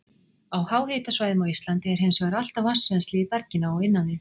Á háhitasvæðum á Íslandi er hins vegar alltaf vatnsrennsli í berginu á innan við